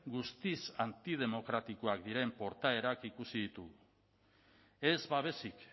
guztiz antidemokratikoak diren portaerak ikusi ditugu ez babesik